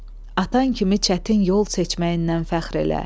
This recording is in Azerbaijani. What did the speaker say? Atan kimi çətin yol seçməyindən fəxr elə.